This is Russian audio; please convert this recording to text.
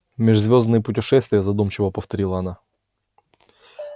межзвёздные путешествия задумчиво повторила она